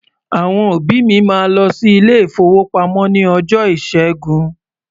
Àwọn òbí mi máa lọ sí ilé-ìfowópamọ́ ní ọjọ́ Ìṣẹ́gun.